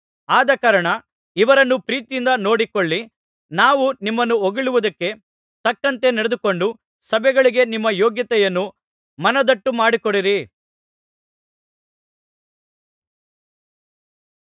ಆದಕಾರಣ ಇವರನ್ನು ಪ್ರೀತಿಯಿಂದ ನೋಡಿಕೊಳ್ಳಿ ನಾವು ನಿಮ್ಮನ್ನು ಹೊಗಳಿದ್ದಕ್ಕೆ ತಕ್ಕಂತೆ ನಡೆದುಕೊಂಡು ಸಭೆಗಳಿಗೆ ನಿಮ್ಮ ಯೋಗ್ಯತೆಯನ್ನು ಮನದಟ್ಟು ಮಾಡಿಕೊಡಿರಿ